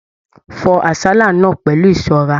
Fọ àsálà náà pẹlú ìṣọrà!